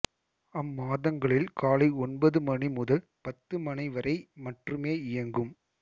அம்மாதங்களில் காலை ஒன்பது மணி முதல் பத்து மணி வரை மற்றுமே இயங்கும்